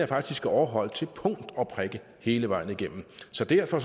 faktisk er overholdt til punkt og prikke hele vejen igennem så derfor